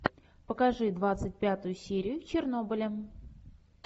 покажи двадцать пятую серию чернобыля